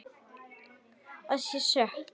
Að ég sé stök.